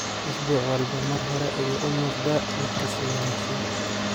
Isbuuc walba mar hore ayuu u muuqdaa mid ka sii wanaagsan.